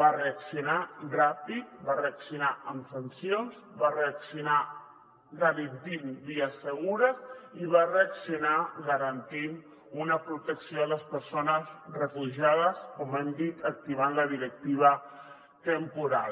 va reaccionar ràpid va reaccionar amb sancions va reaccionar garantint vies segures i va reaccionar garantint una protecció a les persones refugiades com hem dit acti·vant la directiva temporal